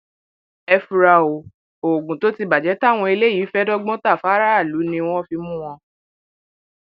ẹ fura o oògùn tó ti bàjẹ táwọn eléyìí fẹẹ dọgbọn ta fáráàlú ni wọn fi mú wọn